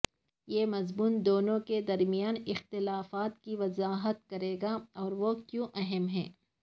یہ مضمون دونوں کے درمیان اختلافات کی وضاحت کرے گا اور وہ کیوں اہم ہیں